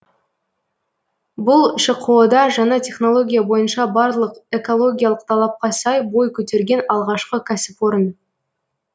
бұл шқо да жаңа технология бойынша барлық экологиялық талапқа сай бой көтерген алғашқы кәсіпорын